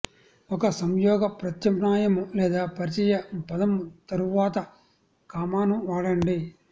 ఒక సంయోగ ప్రత్యామ్నాయము లేదా పరిచయ పదము తరువాత కామాను వాడండి